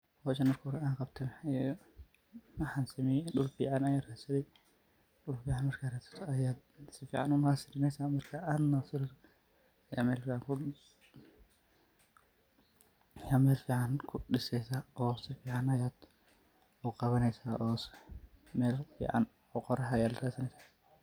Hooshan marki hori anqabtoh waxay aheeyt waxan sameeyibdul fican Aya ratsathi markn dul fican ratsathi Aya sufican u nursery neysah marka nuseresoh Aya meel fican kudireysah sufican Aya u Qawneysah meel fican oo Qoorax ratsaneysah.